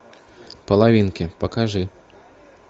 половинки покажи